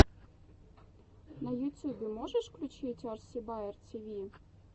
на ютьюбе можешь включить арси баер тиви